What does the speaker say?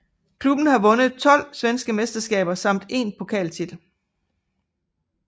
Klubben har vundet 12 svenske mesterskaber samt én pokaltitel